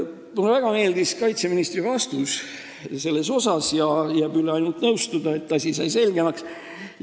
Mulle väga meeldis kaitseministri vastus ja jääb üle ainult nõustuda, et see asi sai selgemaks.